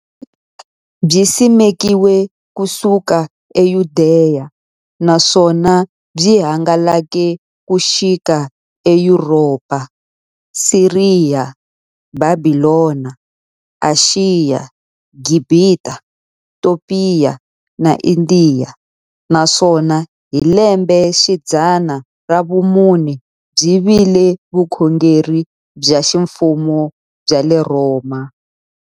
Byisimekiwe ku suka eYudeya, naswona byi hangalake ku xika eYuropa, Siriya, Bhabhilona, Ashiya, Gibhita, Topiya na Indiya, naswona hi lembexidzana ra vumune byi vile vukhongeri bya ximfumo bya le Rhoma.